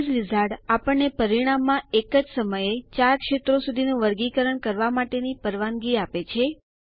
base wizard આપણને પરિણામમાં એક સમયે ૪ ક્ષેત્રો સુધીનું વર્ગીકરણ કરવા માટેની પરવાનગી આપે છે